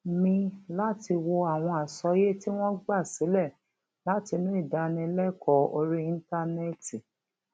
mi láti wo àwọn àsọyé tí wón gba sílè látinú ìdánilékòó orí íńtánéètì